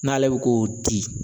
N'ale bi k'o di